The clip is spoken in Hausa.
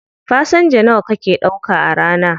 Fasenja nawa kake ɗauka a rana?